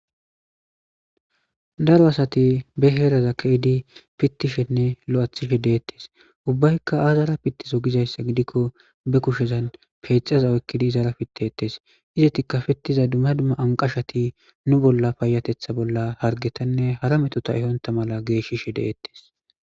Daro asati be heraza keehidi pitishenne lo'ethishe deetes. Ubbayka aazara pitizoo giikon ba kushezan peyxaza oykidi izara pittetes. Izeti pitizay anqashati nu bolla payatetha bolla duma duma hargetanne hara meto ehonta mala geeshishe deetes.